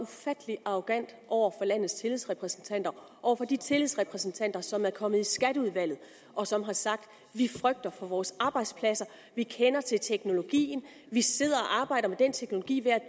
ufattelig arrogant over for landets tillidsrepræsentanter over for de tillidsrepræsentanter som er kommet i skatteudvalget og som har sagt vi frygter for vores arbejdspladser vi kender til teknologien vi sidder og arbejder med den teknologi hver